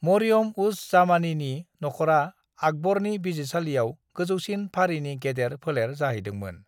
मरियम-उज-जामानीनि नखरा आकबरनि बिजिरसालियाव गोजौसिन फारिनि गेदेर फोलेर जाहैदोंमोन।